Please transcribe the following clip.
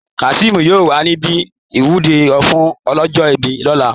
kaseem yóò wà níbi ìwúre fún ọlọ́jọ́ ìbí lọ́la